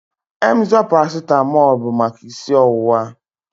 Emzor paracetamol bụ maka isi ọwụwa